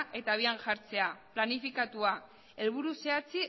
eta habian jartzea planifikatua helburu